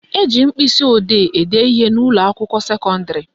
Eji mkpịsịodee ede ihe n'ụlọakwụkwọ sekọndịrị